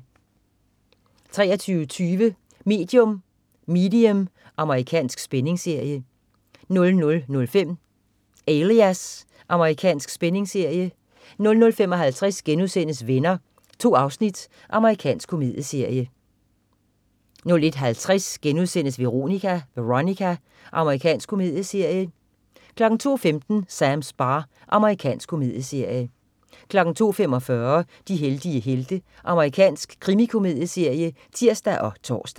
23.20 Medium. Amerikansk spændingsserie 00.05 Alias. Amerikansk spændingsserie 00.55 Venner.* 2 afsnit. Amerikansk komedieserie 01.50 Veronica.* Amerikansk komedieserie 02.15 Sams bar. Amerikansk komedieserie 02.45 De heldige helte. Amerikansk krimikomedieserie (tirs og tors)